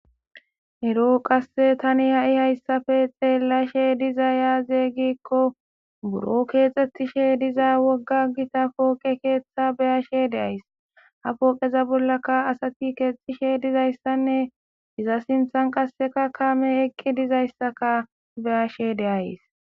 ero qasse tani ha7i hayssafe xeellashe diza yaaze gikko buro keexxettishe diza wogga gita pooqe keeththa beyashe deays ha pooqeza bollaka asati keexishe dizayssanne iza sinthan qasseka kame eqqi dizayssaka beyashe deays